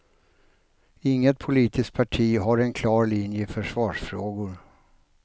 Inget politiskt parti har en klar linje i försvarsfrågor.